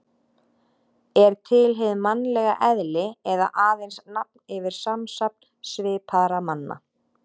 Er til hið mannlega eðli eða aðeins nafn yfir samsafn svipaðra manna?